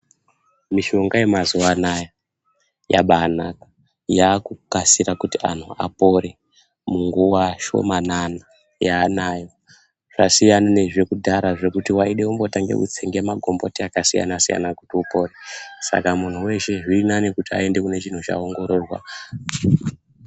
Mishonga yemazuva anaya yabanaka yakukasira kuti antu apore munguva shomanana yaanayo. Zvasiyana nezvekudhara zvekuti veide kubhotsenge magomboti akasiyana-siyana kuti upore. Saka muntu veshe zviri nane kuti aende kune chinhu ichi kuti aongororwa.